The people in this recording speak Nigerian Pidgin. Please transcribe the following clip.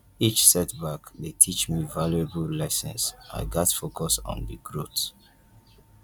each setback dey teach me valuable lessons i gats focus on the growth